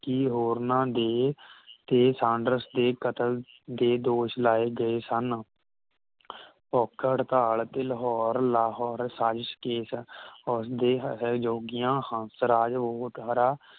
ਕੀ ਹੋਰਨਾਂ ਦੇ ਤੇ ਸਾਂਡਰਸ ਦੇ ਕਤਲ ਦੇ ਦੋਸ਼ ਲਾਏ ਗਏ ਸਨ ਭੁੱਖ ਹੜਤਾਲ